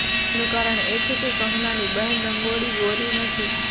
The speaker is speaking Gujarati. તેનું કારણ એ છે કે કંગનાની બહેન રંગોળી ગોરી નથી